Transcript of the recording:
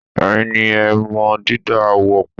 Ẹ̀yin ni ẹ o mọ dídá ààwọ̀ pọ̀.